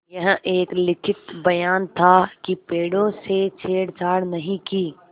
यह एक लिखित बयान था कि पेड़ों से छेड़छाड़ नहीं की